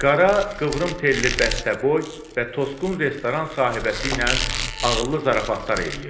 Qara qıvrım telli bəstəboy və tosqun restoran sahibəsi ilə ağıllı zarafatlar eləyirdi.